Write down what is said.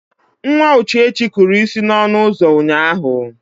Nwa Uchechi kụrụ isi n'ọnụ ụzọ ụnyaahụ.